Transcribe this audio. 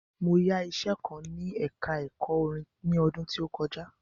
Mo yá iṣẹ kan ní ẹka ẹ̀kọ́ orin ni ọdún tí ó kọjá.